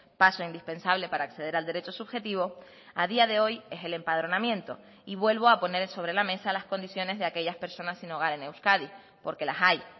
paso indispensable para acceder al derecho subjetivo a día de hoy es el empadronamiento y vuelvo a poner sobre la mesa las condiciones de aquellas personas sin hogar en euskadi porque las hay